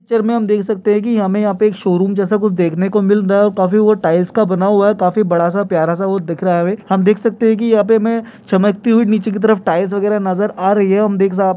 picture में देख सकते है हमें यहाँ पे एक शो रूम जेसा कुछ देखने को मिल रहा हमें और काफी वो टायल्स का बना हुआ है काफी बड़ा सा प्यारा सा वो दिख रहा है हमें हम देख सकते है की यहाँ पे हमें चमकती हुए निचे की तरफ हमें टायल्स वगेरा नज़र आ रही है हम दे--